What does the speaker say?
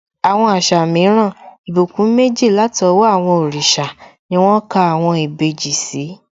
Àwọn àṣà mìíràn, ìbùkún méjì látọwọ́ àwọn òrìṣà ni wón ka àwọn ìbejì sí